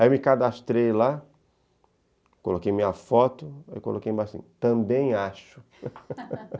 Aí eu me cadastrei lá, coloquei minha foto e coloquei embaixo assim, também acho.